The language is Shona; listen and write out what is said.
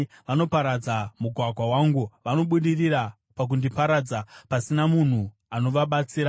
Vanoparadza mugwagwa wangu; vanobudirira pakundiparadza, pasina munhu anovabatsira.